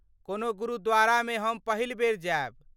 कोनो गुरुद्वारामे हम पहिल बेर जायब।